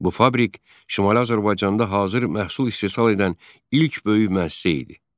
Bu fabrik Şimali Azərbaycanda hazır məhsul istehsal edən ilk böyük müəssisə idi.